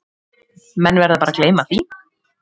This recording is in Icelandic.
Menn verða bara að gleyma því